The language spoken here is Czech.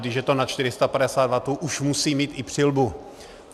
Když je to nad 450 wattů, už musí mít i přilbu.